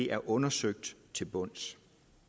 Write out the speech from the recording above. er undersøgt til bunds